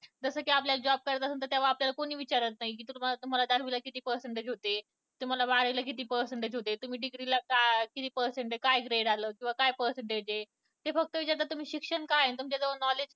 जसं कि आपल्याला job करायचं असं तेव्हा आपल्याला कुणी विचारत नाही कि तुम्हाला दहावीला किती percentage ते तुम्हाला बारावीला किती percentage होते किंवा degree ला किती percentage काय grade आलं किंवा काय percentage आहे ते फक्त विचारतात तुमचं शिक्षण काय, तुमच्याजवळ knowldge